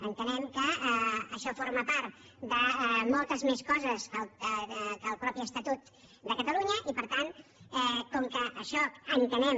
entenem que això forma part de moltes més coses que el mateix estatut de catalunya i per tant com que això entenem